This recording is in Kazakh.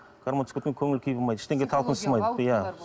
гармон түсіп кеткеннен кейін көңіл күй болмайды ештеңеге иә